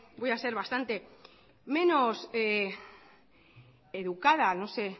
voy a ser bastante menos educada no sé